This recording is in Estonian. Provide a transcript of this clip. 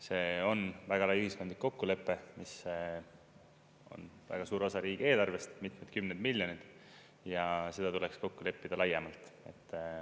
See on väga lai ühiskondlik kokkulepe, mis on väga suur osa riigieelarvest, mitmed kümned miljoneid, ja seda tuleks kokku leppida laiemalt.